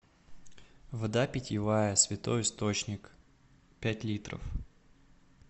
вода питьевая святой источник пять литров